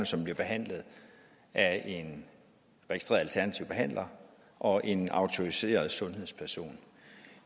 som bliver behandlet af en registreret alternativ behandler og en autoriseret sundhedsperson